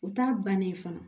U t'a bannen fana